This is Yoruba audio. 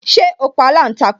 Ṣé o pa aláǹtakùn